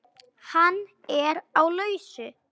Hann er á lausu.